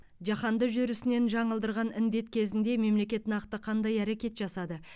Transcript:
жаһанды жүрісінен жаңылдырған індет кезінде мемлекет нақты қандай әрекет жасады